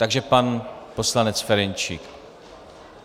Takže pan poslanec Ferjenčík.